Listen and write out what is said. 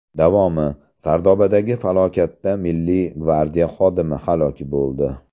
Davomi: Sardobadagi falokatda Milliy gvardiya xodimi halok bo‘ldi.